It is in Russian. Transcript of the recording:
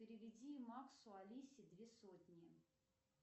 переведи максу алисе две сотни